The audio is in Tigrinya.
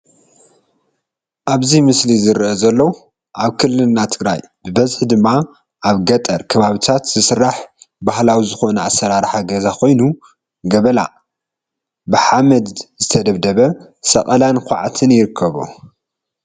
ኣብዚ ምስሊ ዝረአ ዘሎ ኣብ ክልልና ትግራይ ብበዝሒ ድማ ኣብ ገጠር ከባቢታ ዝስራሕ ባህላዊ ዝኾነ ኣሰራርሓ ገዛ ኾይኑ ገበላ (ብሓመድ ዝተደብደበ)፣ሰቐላን ኳዕትን ይርከቦ፡፡